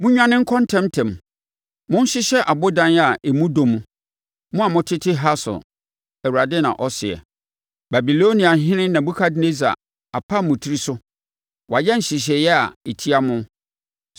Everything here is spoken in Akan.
“Monnwane nkɔ ntɛm ntɛm! Monhyehyɛ abodan a emu dɔ mu, mo a motete Hasor,” Awurade na ɔseɛ. “Babiloniahene Nebukadnessar apam mo tiri so; wayɛ nhyehyɛeɛ a ɛtia mo.